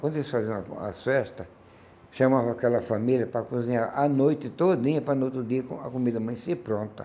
Quando eles faziam a as festa, chamavam aquela família para cozinhar a noite todinha, para no outro dia, com a comida amanhecer, pronta.